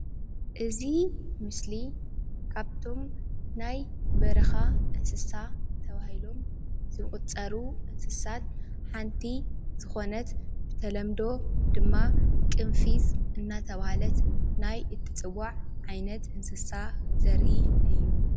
እዚ ምስሊ ካብቶም ናይ በረካ እንስሳ ተባሂሎም ዝቁጽሩ እንስሳት ሓንቲ ዝኮነት ብተለምዶ ድማ ቅንፊዝ እናተባህለት ናይ እትጽዋዕ ዓይነት እንስሳ ዘርኢ እዩ።